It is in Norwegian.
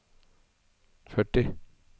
førti